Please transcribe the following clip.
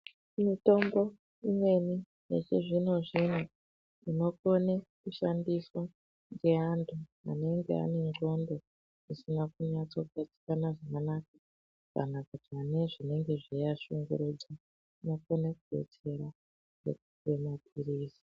Mitombo imweni yechizvino-zvino inokone kushandiswa ngeanthu anenge anendxondo dzisina kunyatsogadzikana zvakanaka kana kuti anenge ane zvinenge zveiashungurudza, inokone kudetsera veipuwe maphilizi.